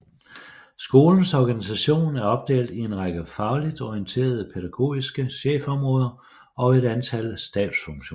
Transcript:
Skolens organisation er opdelt i en række fagligt orienterede pædagogiske chefområder og et antal stabsfunktioner